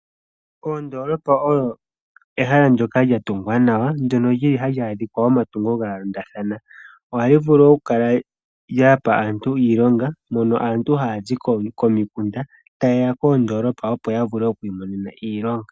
Ondoolopa oyo ehala ndjoka lya tungwa nawa ndjono lyili hali adhika omatungo gayoolokathana. Ohayi vulu okukala yapa aantu iilonga mono aantu haya zi komikunda tayeya koondolopa opo ya vule okwiimonena iilonga.